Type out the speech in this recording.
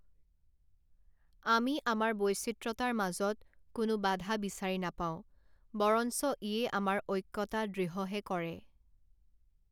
আমি আমাৰ বৈচিত্ৰতাৰ মাজত কোনো বাধা বিচাৰি নাপাও, বৰঞ্চ ইয়ে আমাৰ ঐক্যতা দৃঢ়হে কৰে